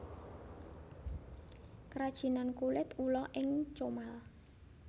Krajinan Kulit Ula ing Comal